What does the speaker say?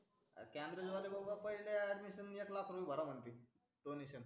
ते cambridge वाले बाबा पहिले admission क लाख भरा म्हणते donation